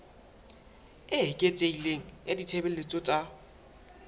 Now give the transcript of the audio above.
e eketsehileng ya ditshebeletso tsa